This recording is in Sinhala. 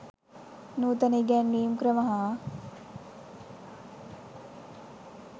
නූතන ඉගැන්වීම් ක්‍රම හා